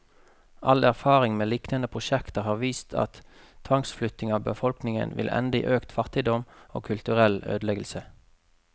All erfaring med lignende prosjekter har vist at tvangsflytting av befolkningen vil ende i økt fattigdom, og kulturell ødeleggelse.